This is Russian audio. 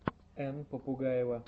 энн попугаева